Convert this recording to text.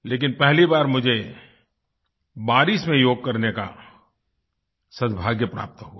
लेकिन पहली बार मुझे बारिश में योग करने का सद्भाग्य प्राप्त हुआ